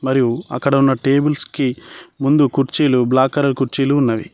మరియు అక్కడ ఉన్న టేబుల్స్ కి ముందు కుర్చీలు బ్లాక్ కలర్ కుర్చీలు ఉన్నవి.